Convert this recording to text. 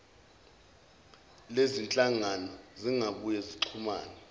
lezizinhlangano zingabuye zixhumane